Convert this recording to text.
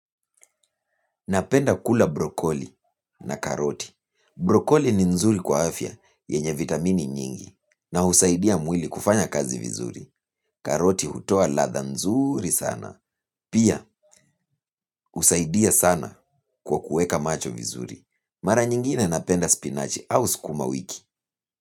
Napenda kula brokoli na karoti. Brokoli ni nzuri kwa afya yenye vitamini mingi na husaidia mwili kufanya kazi vizuri. Karoti hutoa ladha nzuri sana. Pia husaidia sana kwa kuweka macho vizuri. Mara nyingine napenda spinachi au sukumawiki.